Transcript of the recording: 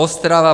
Ostrava -